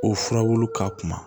O furabulu ka kuma